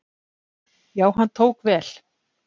Já, hann tók vel.